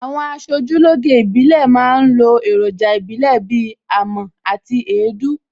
Àwọn aṣojúlóge ìbílẹ̀ ma ń lo èròjà ìbílè bíi amọ̀ àti èédú